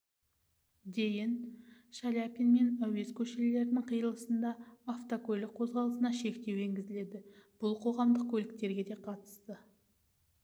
дейін шаляпин мен әуезов көшелерінің қиылысында автокөлік қозғалысына шектеу енгізіледі бұл қоғамдық көліктерге де қатысы